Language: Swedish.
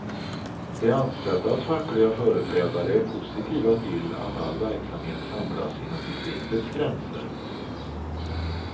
De anställdas fackliga företrädare är positiva till att all verksamhet samlas inom distriktets gränser.